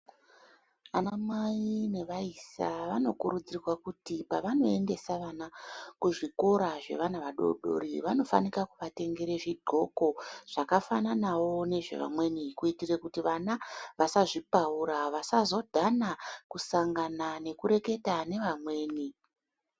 Ana mai nevaisa vanokurudzirwa kuti pevanoendesa vana kuzvikora zvevana vadoodori ,vanofanika kuvatengere zvigqoko zvakafananawo nezvevamweni ,kuitire kuti vana vasazvipaura ,vasazodhana, kusangana nekureketa nevamweni.